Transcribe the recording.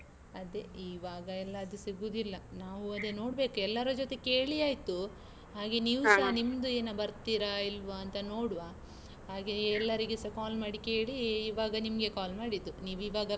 ಅದೇ ಇವಾಗ ಎಲ್ಲಾ ಅದು ಸಿಗುದಿಲ್ಲಾ. ನಾವು ಅದೆ ನೋಡ್ಬೇಕು, ಎಲ್ಲರ ಜೊತೆ ಕೇಳಿ ಆಯ್ತು. ಹಾಗೆ ನೀವು ಸಾ ನಿಮ್ದು ಏನ ಬರ್ತೀರಾ, ಇಲ್ವಂತ ನೋಡುವ. ಹಾಗೆಯೇ ಎಲ್ಲರಿಗೆ ಸ call ಮಾಡಿ ಕೇಳಿ ಇವಾಗ ನಿಮ್ಗೆ call ಮಾಡಿದ್ದು, ನೀವ್ ಇವಾಗ.